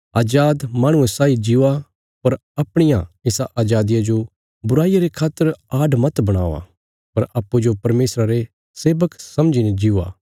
अजाद माहणुये साई जीओ पर अपणिया इसा अजादिया जो बुराईया रे खातर आड मत बणावा पर अप्पूँजो परमेशरा रे सेवक समझीने जीओ